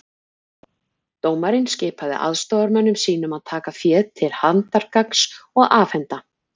Dómarinn skipaði aðstoðarmönnum sínum að taka féð til handargagns og afhenda